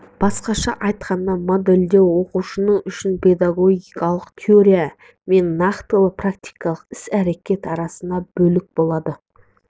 басқаша айтқанда модельдеу оқытушы үшін педагогикалық теория мен нақтылы практикалық іс-әрекет арасындағы бөлік болады